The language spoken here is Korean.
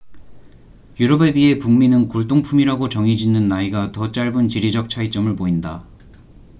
유럽에 비해 북미는 골동품이라고 정의 짓는 나이가 더 짧은 지리적 차이점을 보인다